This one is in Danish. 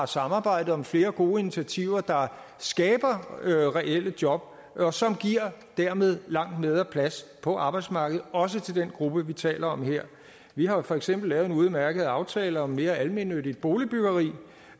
samarbejdet om flere gode initiativer der skaber reelle job og som dermed langt bedre plads på arbejdsmarkedet også til den gruppe vi taler om her vi har jo for eksempel lavet en udmærket aftale om mere almennyttigt boligbyggeri